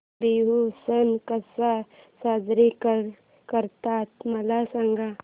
बिहू सण कसा साजरा करतात मला सांग